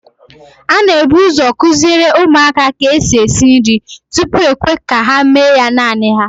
A n'ebuzo kụziere ụmụaka ka esi esi nri, tupu e kwee ka ha mee ya naanị ha